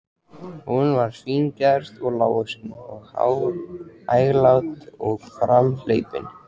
Hún var fíngerð og lágvaxin og hæglát og framhleypin.